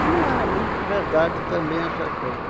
Mas não era muito verdade também essas coisa